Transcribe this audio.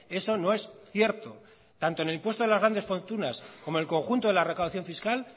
eso no es cierto tanto en el impuesto de las grandes fortunas como el conjunto de la recaudación fiscal